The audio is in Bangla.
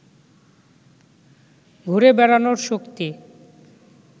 ঘুরে বেড়ানোর শক্তি